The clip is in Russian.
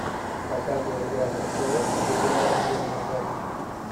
показывай игра престолов где играла анджелина джоли